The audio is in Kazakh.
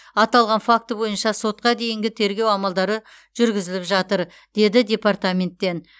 аталған факті бойынша сотқа дейінгі тергеу амалдары жүргізіліп жатыр деді департаменттен